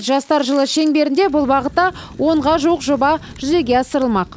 жастар жылы шеңберінде бұл бағытта онға жуық жоба жүзеге асырылмақ